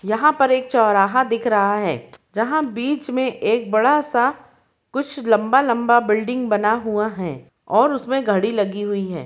यहाँ पर एक चौराहा दिख रहा है जहाँ बीच में एक बड़ा सा कुछ लम्बा-लम्बा बिल्डिंग बना हुआ है और उसमें घड़ी लगी हुई है।